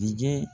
Dingɛ